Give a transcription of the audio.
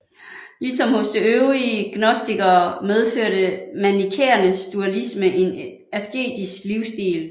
Ligesom hos de øvrige gnostikere medførte manikæernes dualisme en asketisk livsstil